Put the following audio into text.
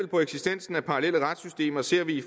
på eksistensen af parallelle retssystemer ser vi i